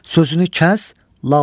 Sözünü kəs, lal ol.